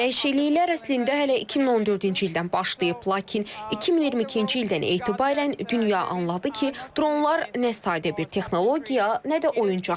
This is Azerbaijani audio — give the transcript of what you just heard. Dəyişikliklər əslində hələ 2014-cü ildən başlayıb, lakin 2022-ci ildən etibarən dünya anladı ki, dronlar nə sadə bir texnologiya, nə də oyuncaqdır.